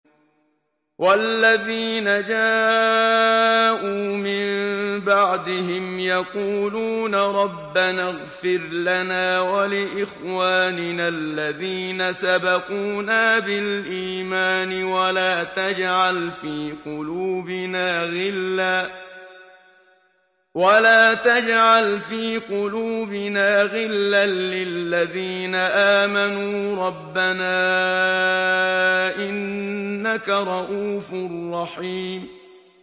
وَالَّذِينَ جَاءُوا مِن بَعْدِهِمْ يَقُولُونَ رَبَّنَا اغْفِرْ لَنَا وَلِإِخْوَانِنَا الَّذِينَ سَبَقُونَا بِالْإِيمَانِ وَلَا تَجْعَلْ فِي قُلُوبِنَا غِلًّا لِّلَّذِينَ آمَنُوا رَبَّنَا إِنَّكَ رَءُوفٌ رَّحِيمٌ